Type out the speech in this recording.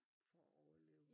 For at overleve